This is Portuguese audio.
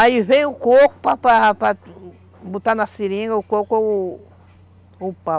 Aí vem o coco para para botar na seringa, o coco ou ou o pau.